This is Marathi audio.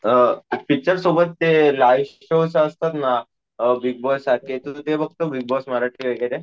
अं पिच्चर सोबत ते लाइव्ह शोस असतात ना अं बिग बॉस सारखे, तू ते बघतो बिग बॉस मराठी वगैरे